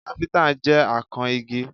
Káfíntà jẹ́ akan igi